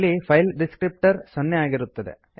ಇಲ್ಲಿ file descriptor 0ಸೊನ್ನೆ ಆಗಿರುತ್ತದೆ